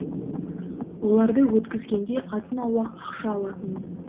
оларды өткізгенде азын аулақ ақша алатынмын